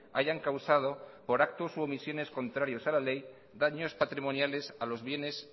hayan causado por actos u omisiones contrarios a la ley daños patrimoniales a los bienes